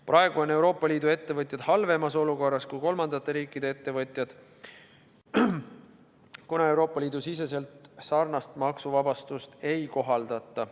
Praegu on Euroopa Liidu ettevõtjad halvemas olukorras kui kolmandate riikide ettevõtjad, kuna Euroopa Liidu sees sarnast maksuvabastust ei kohaldata.